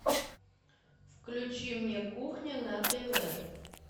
включи мне кухня на тв